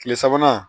Kile sabanan